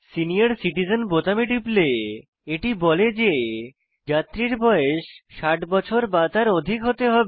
senior citizen বোতামে টিপলে এটি বলে যে যাত্রীর বয়স 60 বছর বা তার অধিক হতে হবে